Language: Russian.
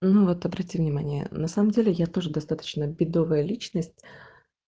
ну вот обрати внимание на самом деле я тоже достаточно бедовая личность